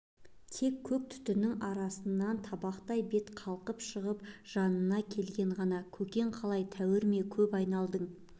тек көк түтіннің арасынан табақтай бет қалқып шығып жанына келген ғана көкең қалай тәуір ме көп айналдың